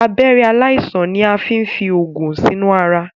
Abẹ̀rẹ̀ aláìsàn ni a fín fí oògùn sinu àrà.